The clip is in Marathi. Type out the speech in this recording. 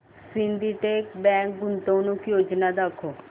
सिंडीकेट बँक गुंतवणूक योजना दाखव